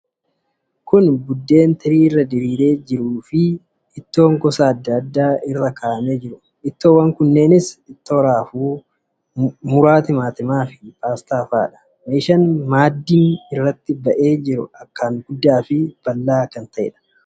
Buddeen tirii irra diriiree jiru irratti ittoon gosa adda addaa diriiree jira. Isaanis ittoo raafuu, muraa timaatimaa fi paastaa fa'aadha. Meeshaan maaddiin irratti ba'ee jiru akkaan guddaa fi bal'aa kan ta'eedha.